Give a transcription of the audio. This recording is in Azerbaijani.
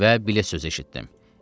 Və bilet sözü eşitdim.